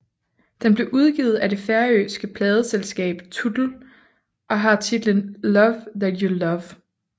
Den blev udgivet af det færøske pladeselskab Tutl og har titlen Love That You Love